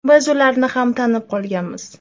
Biz ularni tanib ham qolganmiz.